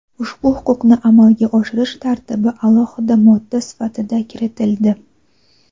ushbu huquqni amalga oshirish tartibi alohida modda sifatida kiritildi.